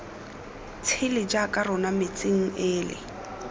tshele jaaka rona metsing ele